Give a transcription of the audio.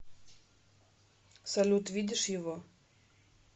салют видишь его